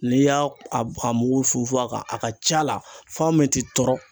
N'i y'a a a mugu funfun a kan a ka c'a la fɛn min tɛ tɔrɔ